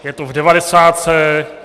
Je to v devadesátce.